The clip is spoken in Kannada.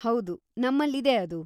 ಹೌದು, ನಮ್ಮಲ್ಲಿದೆ ಅದು.